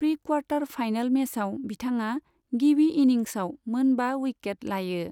Pre quarter final मेचआव, बिथाङा गिबि इनिंसआव मोन बा उइकेट लायो।